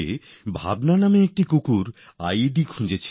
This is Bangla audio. ২০০২ সালে সেনা কুকুর ভাবনা আই ই ডির সন্ধান দিয়েছিল